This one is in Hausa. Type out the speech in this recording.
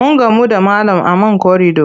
Mun gamu da malam a man korido.